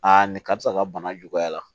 nin karisa ka bana juguyara